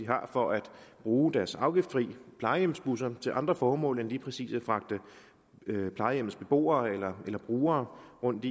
har for at bruge deres afgiftsfri plejehjemsbusser til andre formål end lige præcis at fragte plejehjemmets beboere eller brugere rundt